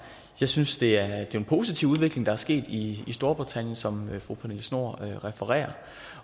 jeg synes det er en positiv udvikling der er sket i storbritannien som fru pernille schnoor refererer